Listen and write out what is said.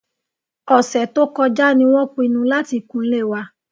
Ọ̀sẹ̀ tó kọjá ni wọ́n pinnu láti kunlé wa